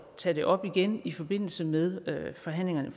tage det op igen i forbindelse med forhandlingerne